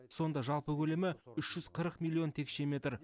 сонда жалпы көлемі үш жүз қырық миллион текше метр